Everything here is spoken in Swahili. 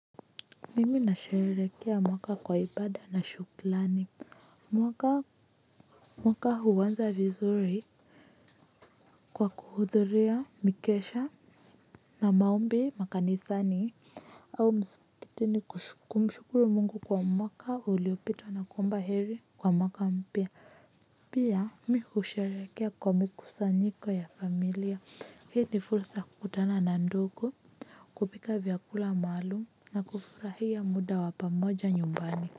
Mimi nasherehekea mwaka kwa ibada na shukurani. Mwaka huanza vizuri. Kwa kuhudhuria mikesha na maombi makanisani au msikitini kumshukuru Mungu kwa mwaka uliopita na kuomba heri kwa mwaka mpya. Pia mi kusherekea kwa mikusanyiko ya familia. Hii ni fursa kutanana ndugu. Kupika vyakula maalumu na kufurahia muda wa pamoja nyumbani.